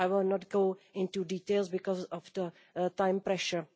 I will not go into details, because of the time pressure.